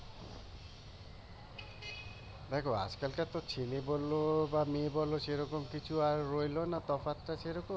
দেখো আজ-কালকার তো ছেলে বলো আর মেয়ে বলো সেরকম কোন কিছু রইল না তফাৎটা সেরকম